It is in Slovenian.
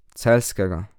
Celjskega.